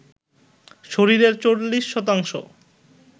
শরীরের ৪০ শতাংশ